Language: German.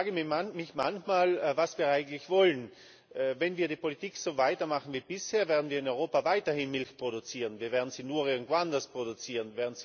Ich frage mich manchmal, was wir eigentlich wollen. Wenn wir die Politik so weitermachen wie bisher, werden wir in Europa weiterhin Milch produzieren, wir werden sie nur irgendwo anders produzieren.